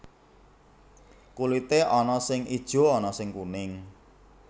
Kulité ana sing ijo ana sing kuning